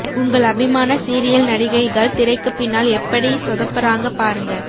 உங்கள் அபிமான சீரியல் நடிகைகள் திரைக்கு பின்னால் எப்படி சொதப்புறாங்க பாருங்க